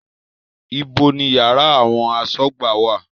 Ibo ni yàrá àwọn asọ́gbà wà?